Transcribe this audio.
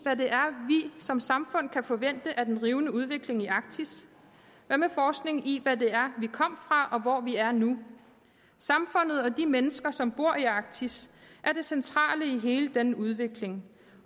som samfund kan forvente af den rivende udvikling i arktis hvad med forskning i hvad vi kom fra og hvor vi er nu samfundet og de mennesker som bor i arktis er det centrale i hele denne udvikling